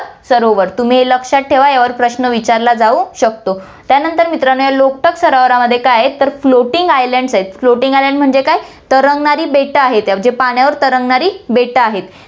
सरोवर, तुम्ही हे लक्षात ठेवा, यावर प्रश्न विचारला जाऊ शकतो. त्यानंतर मित्रांनो, या लोकटाक सरोवरामध्ये काय आहे तर floating islands आहेत, floating islands म्हणजे काय तरंगणारी बेटं आहेत , पाण्यावर तरंगणारी बेटं आहेत